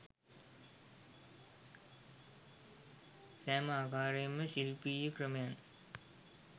සෑම ආකාරයේම ශිල්පීය ක්‍රමයන්